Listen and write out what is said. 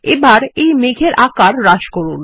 এবার এই মেঘের আকার হ্রাস করুন